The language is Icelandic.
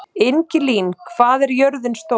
Ingilín, hvað er jörðin stór?